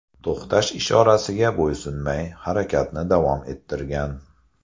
to‘xtash ishorasiga bo‘ysunmay, harakatni davom ettirgan.